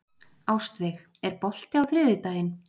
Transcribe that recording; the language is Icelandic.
Ástveig, er bolti á þriðjudaginn?